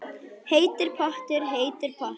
Heitur pottur, heitur pottur